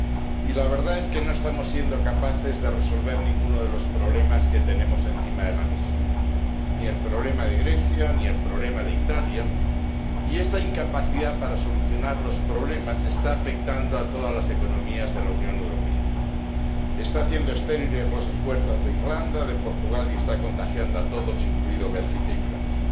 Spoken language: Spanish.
Y la verdad es que no estamos siendo capaces de resolver ninguno de los problemas que tenemos encima de la mesa ni el problema de Grecia, ni el problema de Italia. Y esta incapacidad para solucionar los problemas está afectando a todas las economías de la Unión Europea, está haciendo estériles los esfuerzos de Irlanda y de Portugal y está contagiando a todos, incluídos Bélgica y Francia.